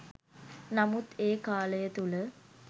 නමුත් ඒ කාලය තුළ